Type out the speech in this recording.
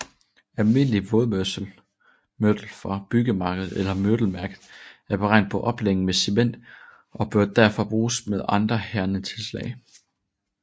Almindelig vådmørtel fra byggemarkedet eller mørtelværket er beregnet på opblanding med cement og bør derfor bruges med andre hærdende tilslag